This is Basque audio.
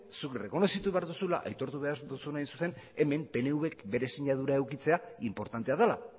zuk errekonozitu behar duzula aitortu behar duzuna hemen pnvk bere sinadura edukitzea inportantea dela